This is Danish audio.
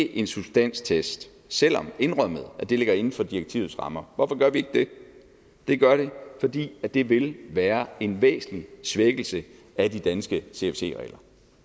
en substanstest selv om det indrømmet ligger inden for direktivets rammer hvorfor gør vi ikke det det gør vi ikke fordi det vil være en væsentlig svækkelse af de danske cfc regler